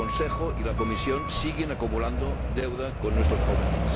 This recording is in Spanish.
El Consejo y la Comisión siguen acumulando deuda con nuestros jóvenes.